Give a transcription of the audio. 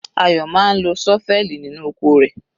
Ayo máa ń lo ṣọ́fẹ́ẹ̀lì nínú oko rẹ̀.